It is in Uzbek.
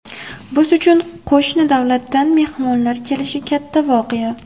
Biz uchun qo‘shni davlatdan mehmonlar kelishi katta voqea.